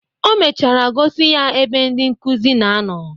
O mechara gosi ya ebe ndị nkuzi na-anọ.